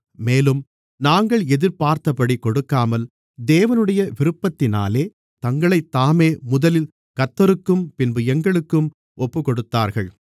மேலும் நாங்கள் எதிர்பார்த்தபடி கொடுக்காமல் தேவனுடைய விருப்பத்தினாலே தங்களைத்தாமே முதலில் கர்த்தருக்கும் பின்பு எங்களுக்கும் ஒப்புக்கொடுத்தார்கள்